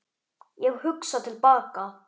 Ég hugsa til baka.